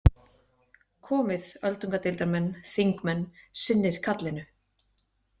Komið öldungadeildarmenn, þingmenn, sinnið kallinu.